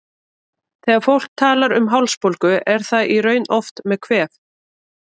Þegar fólk talar um hálsbólgu er það í raun oft með kvef.